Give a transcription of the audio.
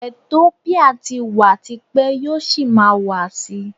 Etiópíà ti wà ti pẹ́, yóò sì máa wà sí.